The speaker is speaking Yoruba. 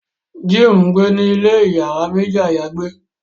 Jim ngbẹ ní ilè iyàrá méjì ayagbe